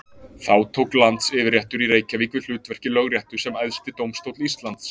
Þá tók landsyfirréttur í Reykjavík við hlutverki Lögréttu sem æðsti dómstóll Íslands.